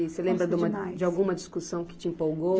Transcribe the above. Você lembra de uma, de alguma discussão que te empolgou?